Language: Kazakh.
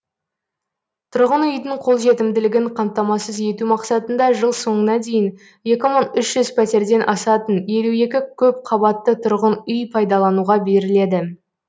тұрғын үйдің қолжетімділігін қамтамасыз ету мақсатында жыл соңына дейін екі мың үш жүз пәтерден асатын елу екі көпқабатты тұрғын үй пайдалануға беріледі